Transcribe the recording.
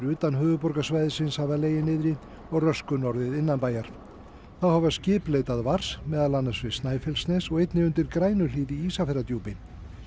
utan höfuðborgarsvæðisins hafa legið niðri og röskun orðið innanbæjar þá hafa skip leitað vars meðal annars við Snæfellsnes og einnig undir Grænuhlíð í Ísafjarðardjúpi